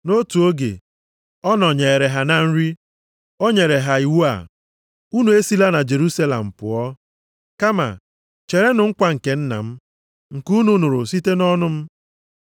Nʼotu oge, ọ nọnyeere ha na nri, o nyere ha iwu a, “Unu esila na Jerusalem pụọ, kama cherenụ nkwa nke Nna m, nke unu nụrụ site nʼọnụ m.